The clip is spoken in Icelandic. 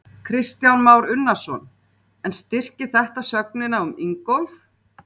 Kristján Már Unnarsson: En styrkir þetta sögnina um Ingólf?